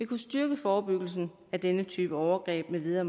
kunne styrke forebyggelsen af denne type overgreb med videre